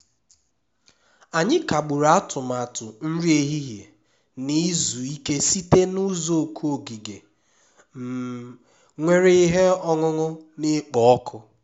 anyị kagburu atụmatụ nri ehihie na izu ike site na uzuoku ogige um nwere ihe ọṅụṅụ na-ekpo ọkụ